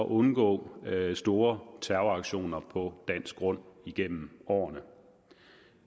undgå store terroraktioner på dansk grund igennem årene